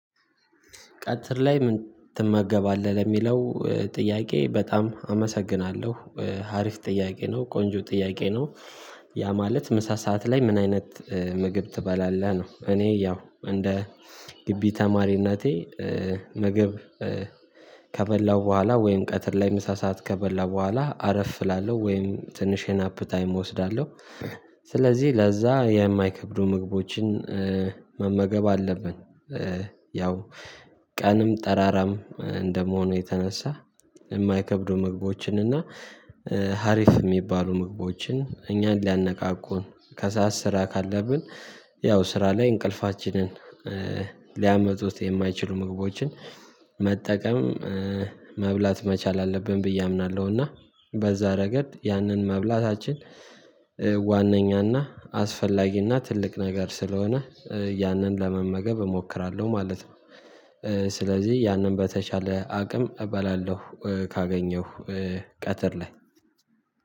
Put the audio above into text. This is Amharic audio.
ቀትር ላይ ምን ትመገባለህ የሚለው ጥያቄ በጣም አመሰግናለሁ ሀሪፍ ጥያቄ ነው ቆንጆ ጥያቄ ነው? ያ ማለት ምሳ ሰዓት ላይ ምን አይነት ምግብ ትበላለህ ነው እኔ ያው እንደ ግቢ ተማሪነቴ ምግብ ከበላው በኋላ ወይም ቀትር ላይ ምሳ ሰዓት ከበላሁ በኋላ አረፍ እላለሁ ወይም ትንሽ የናፕ ታይም እወስዳለሁ። ስለዚህ ለዛ የማይከብዱ ምግቦችን መመገብ አለብን። ያው ቀንም ጠራራም እንደመሆኑ የተነሳ የማይከብዱ ምግቦችን እና ሀሪፍ የሚባሉ ምግቦችን እኛን ሊያነቃቁን ከሰአት ስራ ካለብን ያው ስራ ላይ እንቅልፋችንን ሊያመጡት የማይችሉ ምግቦችን መጠቀም መብላት መቻል አለብን ብዬ አምናለሁ። እና በዛ ረገድ ያንን መብላታችን ዋናኛና አስፈላጊና ትልቅ ነገር ስለሆነ ያንን ለመመገብ እሞክራለሁ ማለት ነው። ስለዚህ ያንን በተቻለ አቅም እበላለሁ። ካገኘሁ ቀትር ላይ